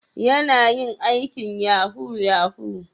Yana yin aikin yahoo -yahoo?